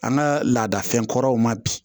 An ka laadafɛn kɔrɔw ma bi